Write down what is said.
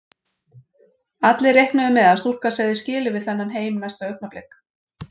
Allir reiknuðu með að stúlkan segði skilið við þennan heim næsta augnablik.